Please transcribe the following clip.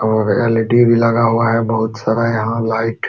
और एल.ई.डी भी लगा हुआ है बहुत सारा यहाँ लाइट --